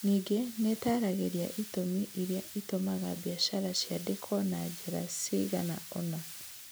Ningĩ nĩ ĩtaaragĩria itũmi iria itũmaga biacara ciandĩkwo na njĩra cigana ũna.